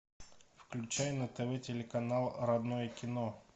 включай на тв телеканал родное кино